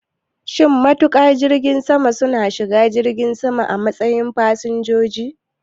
Shin matuƙan jirgin sama su na shiga jirgi sama a matsayin fasinjoji?